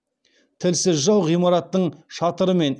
тілсіз жау ғимараттың шатыры мен